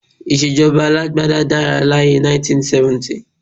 Ìṣèjọba alágbádá dára láyé ẹ 1970